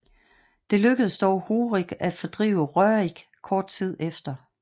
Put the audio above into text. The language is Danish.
Det lykkedes dog Horik at fordrive Rørik kort tid efter